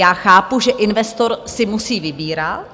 Já chápu, že investor si musí vybírat.